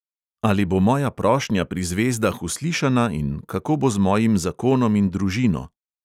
Ali bo moja prošnja pri zvezdah uslišana in kako bo z mojim zakonom in družino?